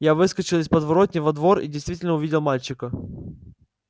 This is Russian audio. я выскочил из подворотни во двор и действительно увидел мальчика